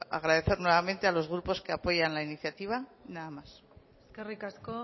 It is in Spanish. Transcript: agradecer nuevamente a los grupos que apoyan la iniciativa nada más eskerrik asko